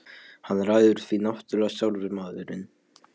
Hann ræður því náttúrlega sjálfur maðurinn.